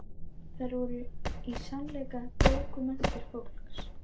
Þær voru í sannleika bókmenntir fólksins.